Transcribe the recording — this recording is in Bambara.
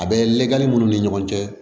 A bɛ lagɛli minnu ni ɲɔgɔn cɛ